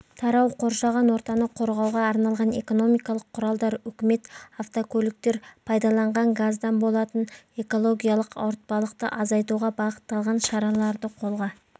тарау қоршаған ортаны қорғауға арналған экономикалық құралдар үкімет автокөліктер пайдаланған газдан болатын экологиялық ауыртпалықты азайтуға бағытталған шараларды қолға